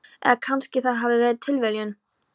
Eða kannski það hafi verið tilviljun.